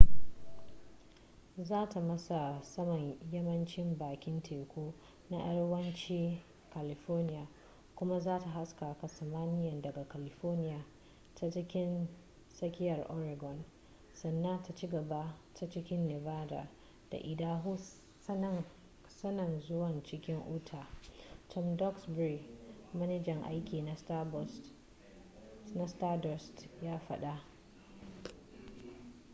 za ta matsa saman yammacin bakin teku na arewacin california kuma za ta haskaka samaniya daga california ta cikin tsakiyar oregon sannan ta cigaba ta cikin nevada da idaho sannan zuwa cikin utah tom duxbury manajan aiki na stardust ya faɗa